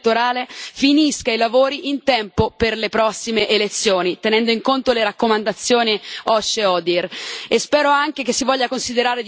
Da ultimo, è importante che la commissione elettorale finisca i lavori in tempo per le prossime elezioni, tenendo in conto le raccomandazioni OSCE ODIHR.